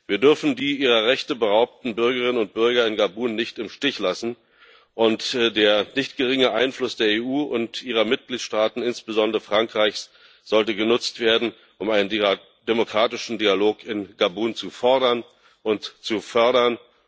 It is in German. Wir dürfen die ihrer Rechte beraubten Bürgerinnen und Bürger in Gabun nicht im Stich lassen, und der nicht geringe Einfluss der EU und ihrer Mitgliedstaaten insbesondere Frankreichs sollte genutzt werden, um einen demokratischen Dialog in Gabun zu fordern und zu fördern.